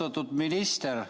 Austatud minister!